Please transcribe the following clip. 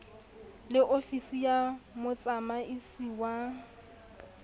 le ofisi ya motsamaisi wa